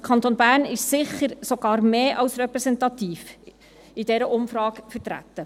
Der Kanton Bern ist also sicher sogar mehr als repräsentativ in dieser Umfrage vertreten.